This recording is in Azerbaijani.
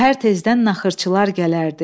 Səhər tezdən naxırçılar gələrdi.